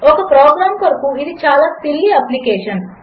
ఒకప్రోగ్రాంకొరకుఇదిచాలాసిల్లీఅప్లికేషన్